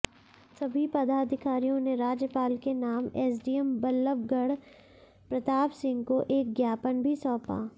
सभी पदाधिकारियों ने राज्यपाल के नाम एसडीएम बल्लभगढ़ प्रताप सिंह को एक ज्ञापन भी सौंपा